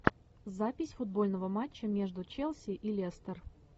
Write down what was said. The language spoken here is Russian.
запись футбольного матча между челси и лестер